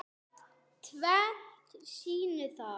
Tvennt sýni það.